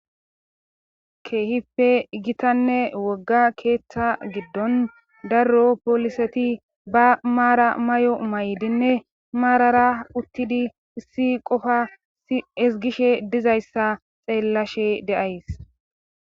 Keehippe gitanne wogga keeththa giddon darro pooliseti ba maara may7o may7dinne maarara uttidi issi qofa esgishe dizayssa xeellashe de'ays.